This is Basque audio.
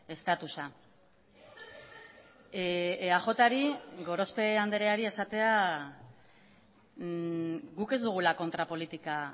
estatusa eajri gorospe andreari esatea guk ez dugula kontrapolitika